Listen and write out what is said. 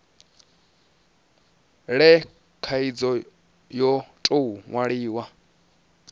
le khaidzo yo tou nwalwaho